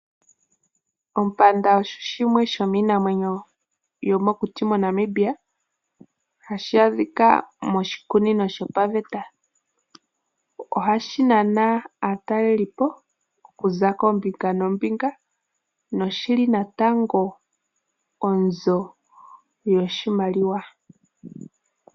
Ompanda osho shimwe shomiinamwenyo yomokuti moNamibia, hashi adhika moshikunino shopaveta. Ohashi nana aatalelipo kuza koombinga noombinga noshili natango onzo yoshimaliwa.